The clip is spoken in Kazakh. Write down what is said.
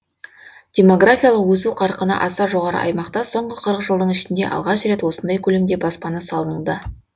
деморгафиялық өсу қарқыны аса жоғары аймақта соңғы қырық жылдың ішінде алғаш рет осындай көлемде баспана салынуда